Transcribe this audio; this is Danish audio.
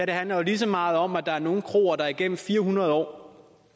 det handler jo lige så meget om at der er nogle kroer der igennem fire hundrede år og